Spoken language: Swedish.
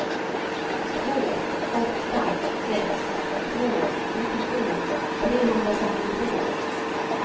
två åtta sex två nittiosju trehundrafemtiotvå